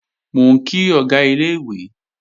Mò ń kí Ọ̀gá ilé-ìwé